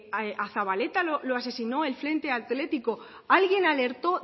a zabaleta lo asesino el frente atlético alguien alertó